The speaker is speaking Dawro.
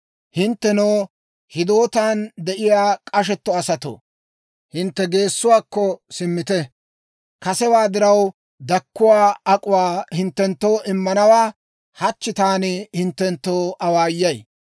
Hinttenoo hidootan de'iyaa k'ashetto asatoo, hintte geessuwaakko simmite; kasewaa diraw dakkuwaa ak'uwaa hinttenttoo immanawaa hachchi taani hinttenttoo awaayay.